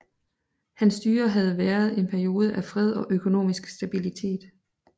Hans styre havde været en periode af fred og økonomisk stabilitet